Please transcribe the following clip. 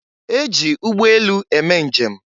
E ji ụgbọelu eme njem.